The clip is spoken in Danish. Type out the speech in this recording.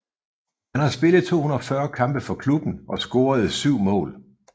Han har spillet 240 kampe for klubben og scorede syv mål